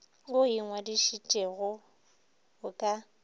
wo o ingwadišitšego o ka